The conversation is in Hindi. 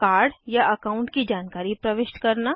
कार्ड या अकाउंट की जानकारी प्रविष्ट करना